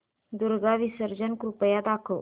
दुर्गा विसर्जन कृपया दाखव